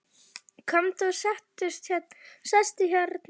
Komdu og sestu hérna við ofninn.